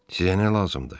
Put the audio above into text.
Sizə nə lazımdır?